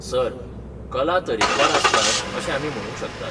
Sir, कला तरेकवार आसतात अशें आमी म्हणूंक शकतात.